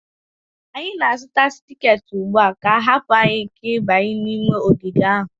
anyị na-azụta tiketi ugbu a ka a ga-ahapụ anyị ịbanye n'ime ogige ahụ